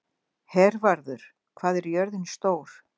Hervarður, hvað er jörðin stór?